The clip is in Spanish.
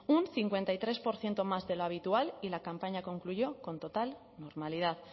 un cincuenta y tres por ciento más de lo habitual y la campaña concluyó con total normalidad